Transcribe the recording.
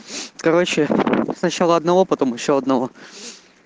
короче сначала одного потом ещё одного